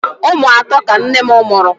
Ụmụ atọ ka nne m mụrụ.